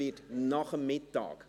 Es wird nach der Mittagspause.